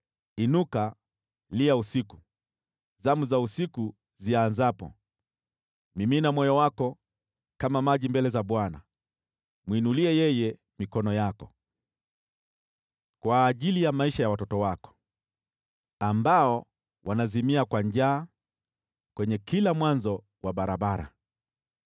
Inuka, lia usiku, zamu za usiku zianzapo; mimina moyo wako kama maji mbele za Bwana. Mwinulie yeye mikono yako kwa ajili ya maisha ya watoto wako, ambao wanazimia kwa njaa kwenye kila mwanzo wa barabara.